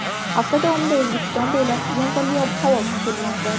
Hafta davomida O‘zbekiston bo‘ylab yomg‘irli ob-havo kutilmoqda.